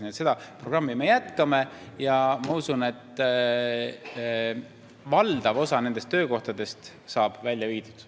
Nii et seda programmi me jätkame ja ma usun, et valdav osa nendest töökohtadest saab siit välja viidud.